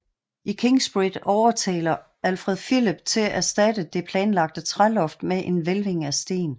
I Kingsbridge overtaler Alfred Phillip til erstatte det planlagte træloft med en hvælving af sten